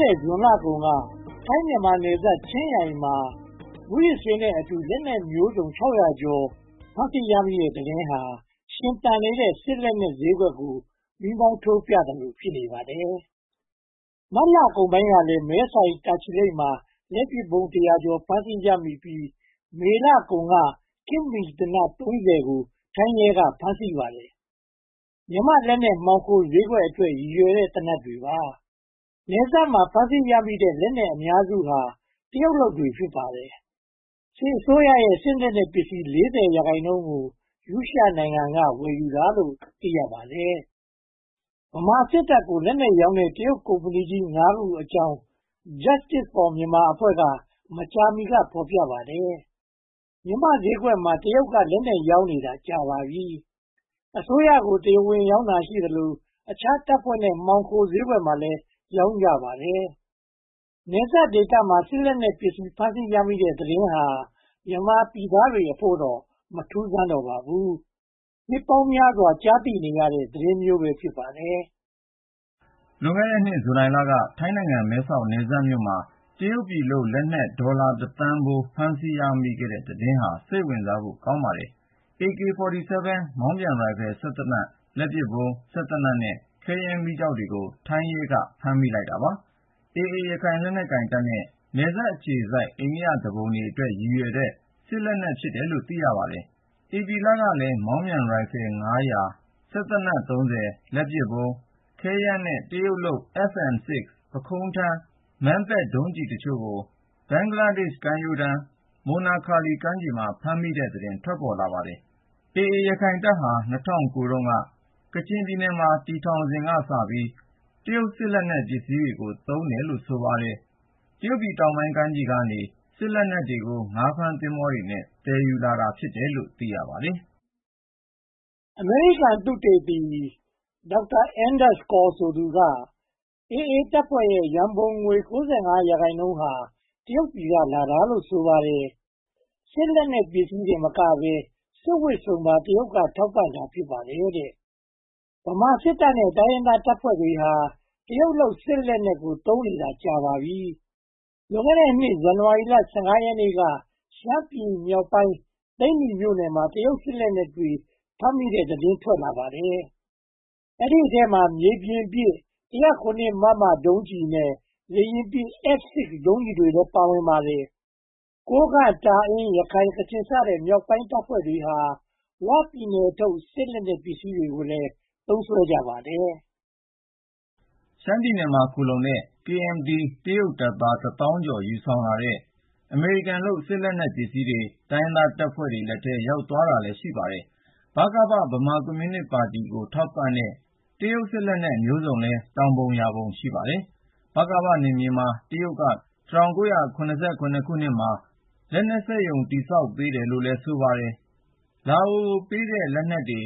တဲ့ဇွန်လကုန်က ထိုင်း-မြန်မာနယ်စပ် ချင်းရိုင်းမှာ မူးယစ်ဆေးနဲ့အတူ လက်နက်မျိုးစုံ ကျော် ဖမ်းဆီးရမိတဲ့သတင်းဟာ ရှင်သန်နေတဲ့ စစ်လက်နက်ဈေးကွက်ကို မီးမောင်းထိုးပြသလို ဖြစ်နေပါတယ်။ မတ်လကုန်ပိုင်းကလည်း မဲဆိုင်း၊ တာချီလိတ်မှာ လက်ပစ်ဗုံးတရာကျော် ဖမ်းဆီးရမိပြီး၊ မေလကုန်က ခေတ်မီသေနတ် ကို ထိုင်းရဲက ဖမ်းဆီးခဲ့ပါတယ်။ မြန်မာ့လက်နက်မှောင်ခိုဈေးကွက်အတွက် ရည်ရွယ်တဲ့ သေနတ်တွေပါ။ နယ်စပ်မှာ ဖမ်းဆီးရမိတဲ့ လက်နက်အများစုဟာ တရုတ်လုပ်တွေ ဖြစ်ပါတယ်။ စစ်အစိုးရရဲ့ စစ်လက်နက်ပစ္စည်း ရာခိုင်နှုန်းကို ရုရှားနိုင်ငံက ဝယ်ယူတာလို့ သိရပါတယ်။ ဗမာစစ်တပ်ကို လက်နက်ရောင်းတဲ့ တရုတ်ကုမ္မဏီ ခုအကြောင်း Justice for Myanmar အဖွဲ့က မကြာမီက ဖော်ပြပါတယ်။ မြန်မာ့ဈေးကွက်မှာ တရုတ်က လက်နက်ရောင်းနေတာ ကြာပါပြီ။ အစိုးရကို တရားဝင်ရောင်းတာရှိသလို အခြားတပ်ဖွဲ့တွေ မှောင်ခိုဈေးကွက်မှာ ရောင်းတာလည်း ရှိပါတယ်။ နယ်စပ်ဒေသမှာ စစ်လက်နက်ပစ္စည်း ဖမ်းဆီးရမိတဲ့သတင်းဟာ မြန်မာပြည်သားတွေအဖို့တော့ မထူးဆန်းတော့ပါဘူး။ နှစ်ပေါင်းများစွာ ကြားသိနေရတဲ့ သတင်းမျိုး ဖြစ်ပါတယ်။ လွန်ခဲ့တဲ့နှစ် ဇူလိုင်လက ထိုင်းနိုင်ငံ မဲ့ဆောက်နယ်စပ်မြို့မှာ တရုတ်ပြည်လုပ် လက်နက်ဒေါ်လာ သန်းဖိုး ဖမ်းဆီးရမိတဲ့သတင်းဟာ စိတ်ဝင်စားဖို့ ကောင်းပါတယ်။ AK47 မောင်းပြန်ရိုင်ဖယ်စက်သေနတ်၊ လက်ပစ်ဗုံး၊ စက်သေနတ်နဲ့ ခဲယမ်းမီးကျောက်တွေကို ထိုင်းရဲက ဖမ်းဆီးလိုက်ပါတယ်။ AA ရခိုင်စစ်တပ်နဲ့ နယ်စပ်အခြေစိုက် အိန္ဒိယသူပုန်တွေအတွက် ရည်ရွယ်တဲ့ စစ်လက်နက် ဖြစ်တယ်လို့ သိရပါတယ်။ ဧပြီလကလည်း မောင်းပြန်ရိုင်ဖယ် ၊ စက်သေနတ် ၊ လက်ပစ်ဗုံး၊ ခဲယမ်းနဲ့ တရုတ်လုပ် FN-6 ပုခုံးထမ်း Madpad ဒုံးကျည်းအချို့ကို ဘင်္ဂလားဒေ့ရှ် ကမ်းရိုးတန်း မိုနာခါလီကမ်းခြေမှာ ဖမ်းဆီးရမိတဲ့သတင်း ထွက်လာပါတယ်။ AA ရခိုင်တပ်ဟာ ၂၀၀၉ က ကချင်ပြည်နယ်မှာ တည်ထောင်စဉ်ကစပြီး တရုတ်စက်ပစ္စည်းတွေကို သုံးတယ်လို့ ဆိုပါတယ်။ တရုတ်ပြည်တောင်ပိုင်းကမ်းခြေကနေ စစ်လက်နက်တွေကို ငါးဖမ်းသင်္ဘောလေးနဲ့ သယ်ဆောင်လာတာ ဖြစ်တယ်လို့ သိရပါတယ်။ အမေရိကန်သုတေသီ Dr. Anders Corr ဆိုသူကတော့ AA တပ်ဖွဲ့ရဲ့ ရန်ပုံငွေ ရာခိုင်နှုန်းဟာ တရုတ်ပြည်က လာတာလို့ ဆိုပါတယ်။ စစ်လက်နက်ပစ္စည်းတင်မကဘဲ စစ်ဝတ်စုံပါ တရုတ်က ထောက်ပံ့တာ ဖြစ်ပါတယ်။ ဗမာစစ်တပ်နဲ့ တိုင်းရင်းသားတပ်ဖွဲ့တွေဟာ တရုတ်လုပ် စစ်လက်နက်ကို သုံးနေတာ ကြာပါပြီ။ လွန်ခဲ့တဲ့နှစ် ဇန်နဝါရီလ ရက်နေ့က ရှမ်းပြည်နယ်မြောက်ပိုင်း သိန္နီမြို့နယ်မှာ တရုတ်စစ်လက်နက်တွေ ဖမ်းမိတဲ့သတင်း ထွက်လာပါတယ်။ ဒီအထဲမှာ မြေပြင်ပစ် ၁၀၇ မမ ဒုံးကျည်နဲ့ လေယာဉ်ပစ် FN-6 ဒုံးကျည်တွေလည်း ပါဝင်ပါတယ်။ ကိုးကန့်၊ တာအင်း၊ ရခိုင်၊ ကချင်စတဲ့ မြောက်ပိုင်းတပ်ဖွဲ့တွေဟာ ဝပြည်နယ်ထုတ် စစ်လက်နက်ပစ္စည်းတွေကိုလည်း သုံးစွဲကြပါတယ်။ ရှမ်းပြည်နယ်မှာ ခိုလှုံနေတဲ့ KMT တရုတ်တပ်သား တစ်သောင်းကျော် ယူဆောင်လာတဲ့ အမေရိကန်လုပ် စစ်လက်နက်တွေ တိုင်းရင်းသားတပ်ဖွဲ့လက်ထဲ ရောက်သွားတာလည်း ရှိပါတယ်။ ဗကပ - ဗမာပြည်ကွန်မြူနစ်ပါတီကို ထောက်ပံ့တဲ့ တရုတ်စစ်လက်နက်မျိုးစုံလည်း ထောင်ပုံရာပုံ ရှိပါတယ်။ ဗကပနယ်မြေမှာ တရုတ်က ၁၉၇၇ မှာ လက်နက်စက်ရုံ ဆောက်ပေးတယ်လို့ ဆိုပါတယ်။ လာအိုကိုပေးတဲ့ လက်နက်တွေ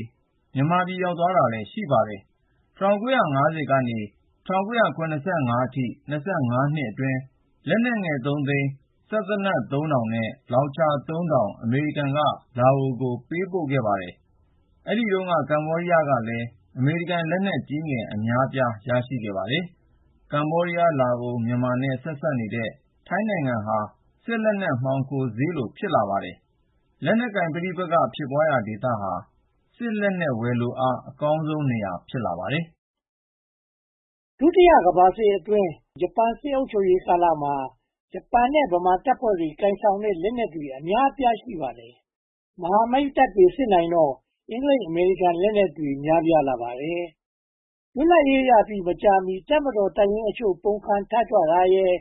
မြန်မာပြည် ရောက်သွားတာလည်း ရှိပါတယ်။ ၁၉၅၀ ကနေ ၁၉၇၅ အထိ နှစ်အတွင်း လက်နက်ငယ် သိန်း၊ စက်သေနတ် ထောင်နဲ့ လောင်ချာ ထောင် အမေရိကန်က လာအိုကို ပေးခဲ့ပါတယ်။ အဲဒီတုန်းက ကမ္ဘောဒီးယားကလည်း အမေရိကန်လက်နက်ကြီးငယ် အများအပြား ရရှိခဲ့ပါတယ်။ ကမ္ဘောဒီးယား၊ လာအို၊ မြန်မာနဲ့ ထိဆက်နေတဲ့ ထိုင်းနိုင်ငံဟာ စစ်လက်နက် မှောင်ခိုဈေးလို ဖြစ်နေပါတယ်။ လက်နက်ကိုင်ပဋိပက္ခ ဖြစ်ပွားရာဒေသဟာ စစ်လက်နက် ဝယ်လိုအား အကောင်းဆုံးနေရာ ဖြစ်လာပါတယ်။ ဒုတိယကမ္ဘာစစ်အတွင်း ဂျပန်စစ်အုပ်ချုပ်ရေးကာလမှာ ဂျပန်နဲ့ ဗမာတပ်ဖွဲ့တွေ ကိုင်ဆောင်တဲ့ လက်နက်တွေ အများအပြား ရှိပါတယ်။ မဟာမိတ်တပ်တွေ စစ်နိုင်တော့ အင်္ဂလိပ်-အမေရိကန် လက်နက်တွေ များပြားလာပါတယ်။ လွတ်လပ်ရေးရပြီး မကြာမီ တပ်မတော်တပ်ရင်းအချို့ ပုန်ကန်ထကြွတာရယ်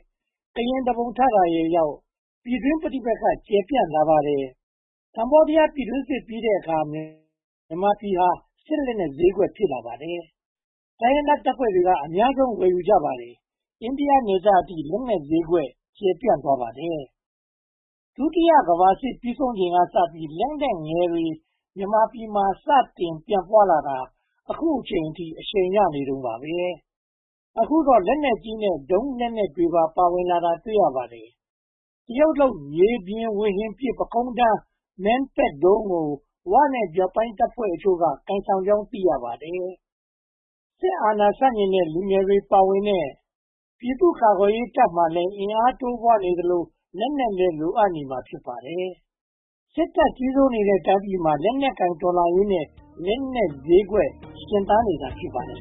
၊ ကရင်သူပုန် ထကြွတာရယ်ကြောင့် ပြည်တွင်းပဋိပက္ခ ကျယ်ပြန့်လာပါတယ်။ ကမ္ဘောဒီးယား ပြည်တွင်းစစ်ပြီးတဲ့အခါ မြန်မာပြည်ဟာ စစ်လက်နက်ဈေးကွက် ဖြစ်လာပါတယ်။ တိုင်းရင်းသားတပ်ဖွဲ့တွေက အများဆုံး ဝယ်ယူကြပါတယ်။ အိန္ဒိယနယ်စပ်အထိ လက်နက်ဈေးကွက် ကျယ်ပြန့်သွားပါတယ်။ ဒုတိယကမ္ဘာစစ်ပြီးဆုံးချိန်ကစပြီး လက်နက်ငယ်တွေ မြန်မာပြည်မှာ စတင်ပြန့်ပွားလာတာ အခုထက်ထိ အရှိန်ရနေတုန်းပါ။ အခုတော့ လက်နက်ကြီးနဲ့ ဒုံးကျည်လက်နက်တွေပါ ပါဝင်လာတာကို တွေ့ရပါတယ်။ တရုတ်လုပ် မြေပြင်ဝေဟင်ပစ် ပုခုံးထမ်း Madpad ဒုံးကို ဝ နဲ့ မြောက်ပိုင်းတပ်ဖွဲ့အချို့ ကိုင်ဆောင်ကြောင်း သိရပါတယ်။ စစ်အာဏာရှင်ဆန့်ကျင်တဲ့ လူငယ်တွေပါဝင်တဲ့ ပြည်သူ့ကာကွယ်ရေးတပ်မှာလည်း အင်အားတိုးပွားနေသလို လက်နက်လည်း လိုအပ်နေမှာ ဖြစ်ပါတယ်။ စစ်တပ်ကြီးစိုးနေတဲ့ တိုင်းပြည်မှာ လက်နက်ကိုင်တော်လှန်ရေးနဲ့ လက်နက်ဈေးကွက် ရှင်သန်နေတာ ဖြစ်ပါတယ်